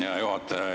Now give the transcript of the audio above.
Aitäh, hea juhataja!